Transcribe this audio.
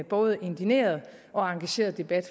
både indigneret og engageret debat